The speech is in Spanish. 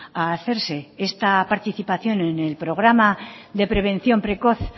a hacerse esta participación en el programa de prevención precoz